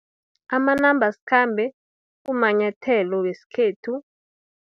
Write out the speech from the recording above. Amanambasikhambe, kumanyathelo weskhethu.